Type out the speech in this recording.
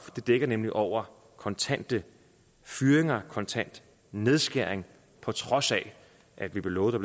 det dækker nemlig over kontante fyringer kontante nedskæringer på trods af at vi blev lovet at